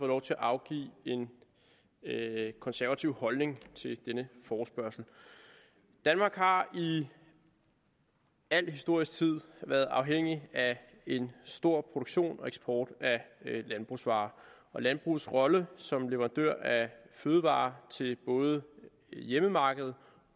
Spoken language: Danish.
lov til at afgive en konservativ holdning til denne forespørgsel danmark har i al historisk tid været afhængig af en stor produktion og eksport af landbrugsvarer landbrugets rolle som leverandører af fødevarer til både hjemmemarkedet